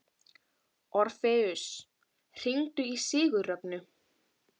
Orfeus, hringdu í Sigurrögnu.